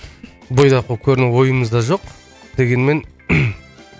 бойдақ болып көріну ойымызда жоқ дегенмен